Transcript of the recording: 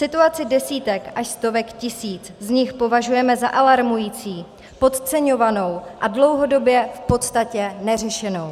Situaci desítek až stovek tisíc z nich považujeme za alarmující, podceňovanou a dlouhodobě v podstatě neřešenou.